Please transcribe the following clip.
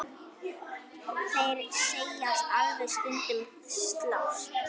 Þeir segjast alveg stundum slást.